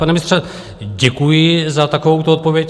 Pane ministře, děkuji za takovouto odpověď.